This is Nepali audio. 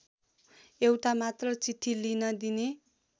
एउटा मात्र चिठी लिन दिने